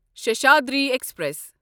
Seshadri express